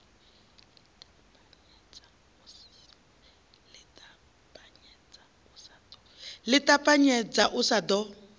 ḽi ṱapanyedza u sa ḓo